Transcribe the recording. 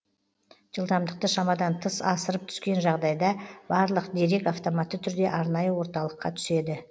жылдамдықты шамадан тыс асырып түскен жағдайда барлық дерек автоматты түрде арнайы орталыққа түседі